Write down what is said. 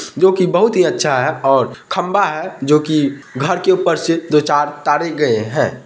जोकि बहुत हीअच्छा है और खम्भा है जोकि घर के ऊपर से दो-चार तारे गयें है।